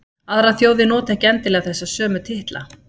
Aðrar þjóðir nota ekki endilega þessa sömu titla.